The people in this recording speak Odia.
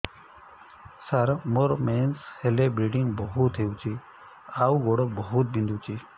ସାର ମୋର ମେନ୍ସେସ ହେଲେ ବ୍ଲିଡ଼ିଙ୍ଗ ବହୁତ ହଉଚି ଆଉ ଗୋଡ ବହୁତ ବିନ୍ଧୁଚି